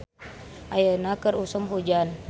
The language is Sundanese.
Ayeuna keur usum hujan